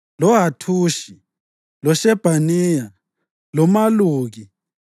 loHathushi, loShebhaniya, loMaluki,